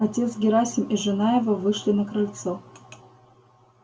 отец герасим и жена его вышли на крыльцо